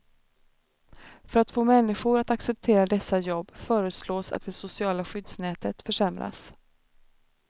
För att få människor att acceptera dessa jobb föreslås att det sociala skyddsnätet försämras.